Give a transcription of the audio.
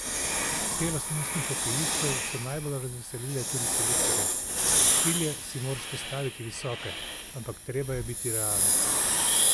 Te lastnosti hokejistov so najbolj razveselile tudi selektorja: "Cilje si moraš postaviti visoke, ampak treba je biti realen.